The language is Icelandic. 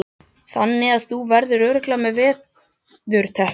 Þannig að þú verður örugglega veðurtepptur?